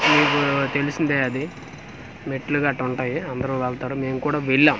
మీకూ తెలిసిందే అది మెట్లు గట్టా వుంటాయి అందరూ వెళ్తారు మేం కూడా వెళ్ళాం.